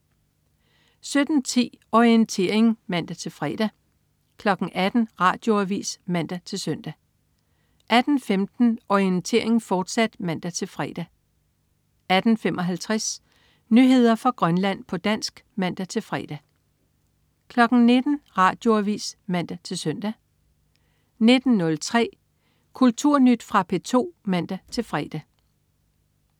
17.10 Orientering (man-fre) 18.00 Radioavis (man-søn) 18.15 Orientering, fortsat (man-fre) 18.55 Nyheder fra Grønland, på dansk (man-fre) 19.00 Radioavis (man-søn) 19.03 Kulturnyt. Fra P2 (man-fre)